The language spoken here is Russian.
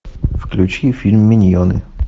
включи фильм миньоны